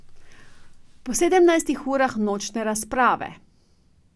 Po sedemnajstih urah nočne razprave.